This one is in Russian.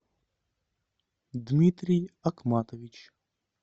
дмитрий акматович